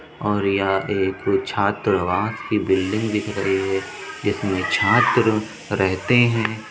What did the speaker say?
और यह एक छात्रावास की बिल्डिंग दिख रही है जिसमें छात्र रहते हैं।